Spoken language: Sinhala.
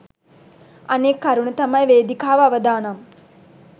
අනෙක් කරුණ තමයි වේදිකාව අවදානම්